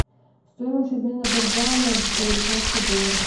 стоимость обмена бальбоа на американские доллары